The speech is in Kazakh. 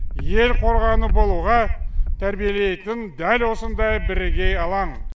ел қорғаны болуға тәрбиелейтін дәл осындай бірегей алаң